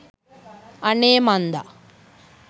අනේ මන්ද